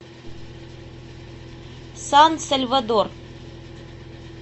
сан сальвадор